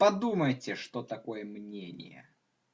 подумайте что такое мнение